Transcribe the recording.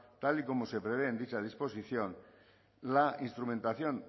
tal y como se prevé en dicha disposición la instrumentación